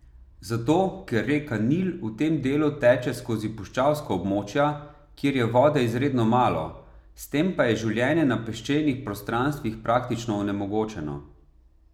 Zato, ker reka Nil v tem delu teče skozi puščavska območja, kjer je vode izredno malo, s tem pa je življenje na peščenih prostranstvih praktično onemogočeno.